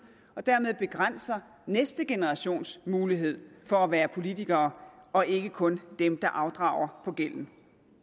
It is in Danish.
og dermed begrænser næste generations mulighed for at være politikere og ikke kun dem der afdrager på gælden